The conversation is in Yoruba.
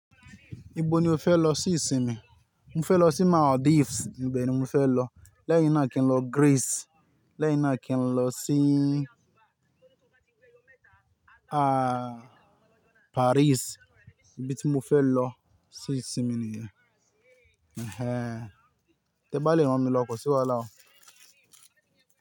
Ibo ni o fẹ́ lọ sí ìsinmi? Mo fẹ́ lọ sí Maldives. Ìbẹ̀ ni mo fẹ́ lọ. Lẹ́yìn náà kí n lọ Greece. Lẹ́yìn náà kí n lọ sí, ah, Paris. Ibi tí mo fẹ́ lọ sí ìsinmi nì yẹn. Ẹ̀hẹ̀n, tẹ bá lè rán mi lọ kò sí wàhálà o.